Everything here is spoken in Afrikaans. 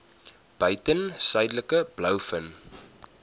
buiten suidelike blouvin